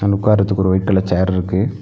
உக்காரத்துக்கு ஒரு white colour chair ருக்கு.